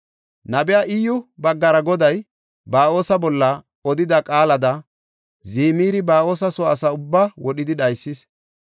Nabiya Iyyu baggara Goday Ba7oosa bolla odida qaalada Zimiri Ba7oosa soo asa ubbaa wodhidi dhaysis.